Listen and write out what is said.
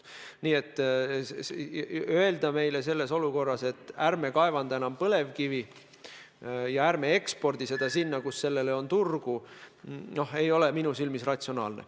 Öelda selles olukorras, et ärme kaevandame enam põlevkivi ja ärme ekspordime seda sinna, kus sellele on turgu, ei ole minu arvates ratsionaalne.